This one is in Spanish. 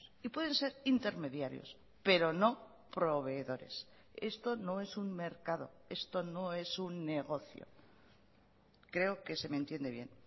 y pueden ser intermediarios pero no proveedores esto no es un mercado esto no es un negocio creo que se me entiende bien